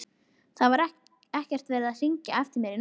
Það var ekkert verið að hringja eftir mér í nótt.